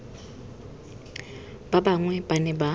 ba bangwe ba ne ba